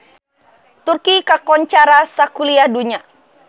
Turki kakoncara sakuliah dunya